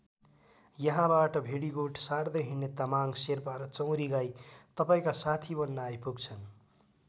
यहाँबाट भेडीगोठ सार्दै हिँड्ने तामाङ शेर्पा र चौँरी गाई तपाईँका साथी बन्न आइपुग्छन्।